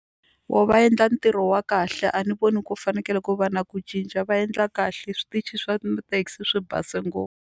Voho va endla ntirho wa kahle a ni voni ku fanekele ku va na ku cinca va endla kahle switichi swa mathekisi swi base .